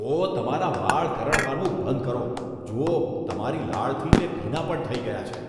ઓ! તમારા વાળ કરડવાનું બંધ કરો. જુઓ, તમારી લાળથી તે ભીના પણ થઈ ગયા છે.